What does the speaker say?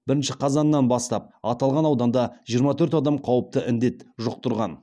бірінші қазаннан бастап аталған ауданда жиырма төрт адам қауіпті індет жұқтырған